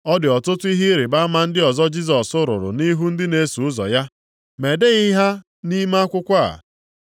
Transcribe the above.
Ọ dị ọtụtụ ihe ịrịbama ndị ọzọ Jisọs rụrụ nʼihu ndị na-eso ụzọ ya. Ma edeghị ha nʼime akwụkwọ a.